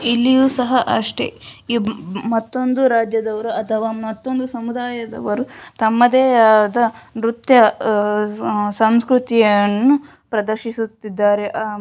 ಇಲ್ಲಿಯೂ ಸಹ ಅಷ್ಟೆ ಈ ಮತ್ತೊಂದು ರಾಜ್ಯದವರು ಅಥವಾ ಮತ್ತೊಂದು ಸಮುದಾಯದವರು ತಮ್ಮದೇ ಆದ ನೃತ್ಯ ಅಹ್ ಸಂಸ್ಕೃತಿಯನ್ನು ಪ್ರದರ್ಶಿಸುತ್ತಿದ್ದಾರೆ. ಅಹ್ --